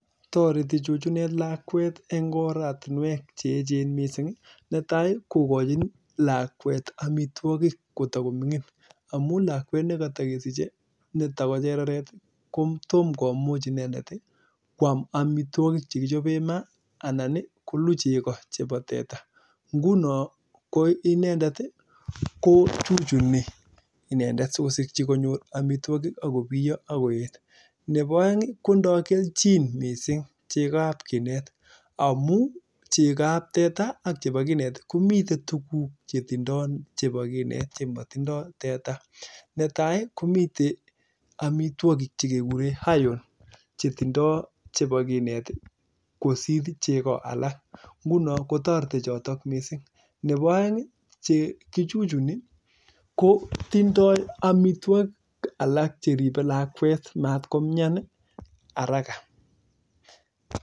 Netai kokachin lakwet amitwokik ko takomining amuu memuchi kwam amitwakik chekichopei eng maa neboo aeng ko chekoo ab kinet kotindoi (iron) koraa koribei lakwet matko mnyan haraka